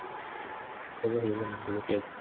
қазақ елі мәңгілік ел